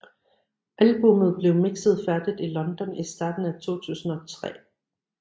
Albummet blev mixet færdigt i London i starten af 2003